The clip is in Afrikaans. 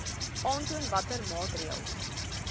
aantoon watter maatreëls